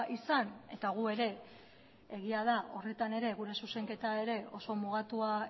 izan eta gu ere egia da horretan ere gure zuzenketa ere oso mugatua